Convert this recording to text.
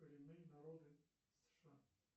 коренные народы сша